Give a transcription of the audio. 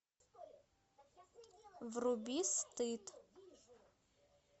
вруби стыд